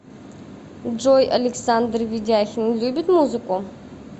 джой александр ведяхин любит музыку